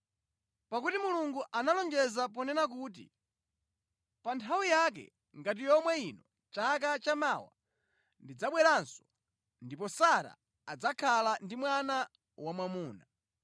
Pakuti Mulungu analonjeza ponena kuti, “Pa nthawi yake ngati yomwe ino chaka chamawa ndidzabweranso, ndipo Sara adzakhala ndi mwana wamwamuna.”